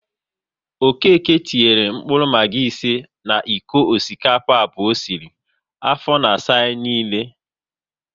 Okéke tinyere mkpụrụ Maggi ise na iko osikapa abụọ o sịrị, afọ na asa anyị niile